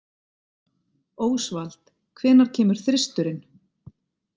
Ósvald, hvenær kemur þristurinn?